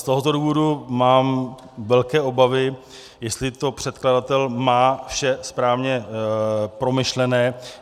Z tohoto důvodu mám velké obavy, jestli to předkladatel má vše správně promyšlené.